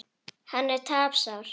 Hann er tapsár.